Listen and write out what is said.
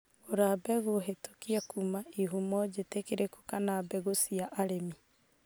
Gũra mbegũ hĩtũkie kuuma ihumo njĩtĩkĩrĩku kana mbegu cia arĩmi.